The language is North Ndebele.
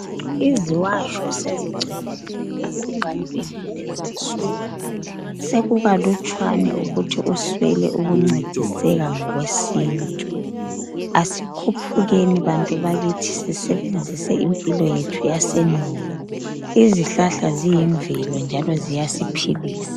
Iziwatsho sezigcwele kakhulu ebantwini kulezinsuku sokukalutshwane ukuthi uswele ukuncediseka ngokwesintu asikhuphukeni bantu bakithi sisebenzise impilo yethu yasendulo izihlahla ziyimvelo njalo ziyasiphilisa.